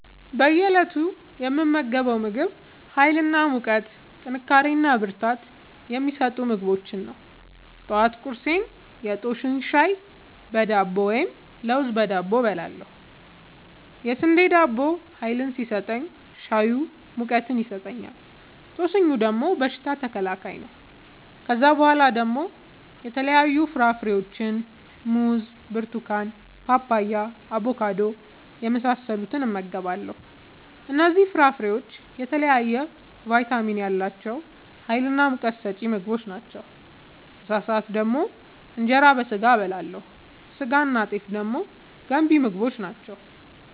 በእየ እለቱ የምመገበው ምግብ ሀይል እና ሙቀት ጥንካሬና ብርታት የሚሰጡ ምግቦችን ነው። ጠዋት ቁርሴን የጦስኝ ሻይ በዳቦ ወይም ለውዝ በዳቦ እበላለሁ። የስንዴ ዳቦው ሀይል ሲሰጠኝ ሻዩ ሙቀት ይሰጠኛል። ጦስኙ ደግሞ በሽታ ተከላካይ ነው። ከዛ በኋላ ደግሞ የተለያዩ ፍራፍሬዎችን(ሙዝ፣ ብርቱካን፣ ፓፓያ፣ አቦካዶ) የመሳሰሉትን እመገባለሁ እነዚህ ፍራፍሬዎች የተለያየ ቫይታሚን ያላቸው ሀይልናሙቀት ሰጪ ምግቦች ናቸው። ምሳ ሰአት ደግሞ እንጀራ በስጋ አበላለሁ ስጋናጤፍ ደግሞ ገንቢ ምግቦች ናቸው